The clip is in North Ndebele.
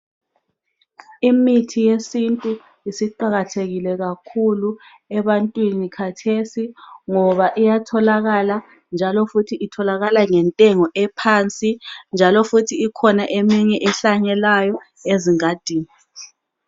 Imithi yesintu isiqakathekile kakhulu ebantwini khathesi ngoba iyatholakala njalo futhi itholakala ngentengo ephansi. Ikhona eminye ehlanyelwayo ezingadini.